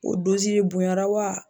O bonya na wa?